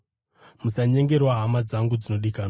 Musanyengerwa, hama dzangu dzinodikanwa.